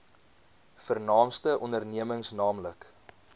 vernaamste ondernemings nl